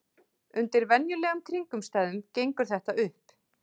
Undir venjulegum kringumstæðum gengur þetta upp.